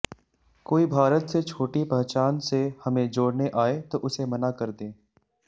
कोई भारत से छोटी पहचान से हमें जोड़ने आए तो उसे मना कर दें